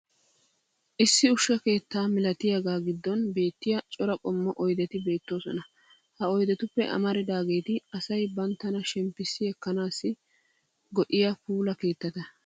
issi ushsha keetta malattiyaaga giddon beetiya cora qommo oydetti beetoosona. ha oydetuppe amaridaageeti asay banttana shemppissi ekkanaassi go'iyaa puula keettata.